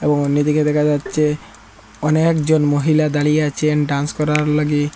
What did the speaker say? এবং অন্যদিকে দেখা যাচ্ছে অনেকজন মহিলা দাঁড়িয়ে আছেন ডান্স করার লাগি।